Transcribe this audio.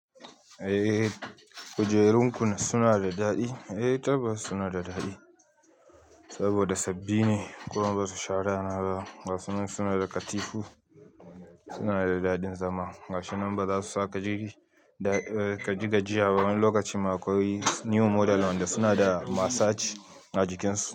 Eh kujerunku suna da daɗi? Eh taba suna da daɗi saboda sabbi ne, kuma basu shara na ba. Gashi kuma suna da katifu, suna da daɗin zama. Gashi nan ba za su saka jirgi ka ji gajiya ba wani lokacin ma akwai new model wanda suna da massage a jikinsu.